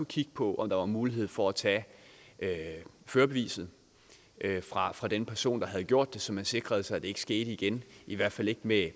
kigge på om der var mulighed for at tage førerbeviset fra den person der havde gjort det så man sikrede sig at det ikke skete igen i hvert fald ikke med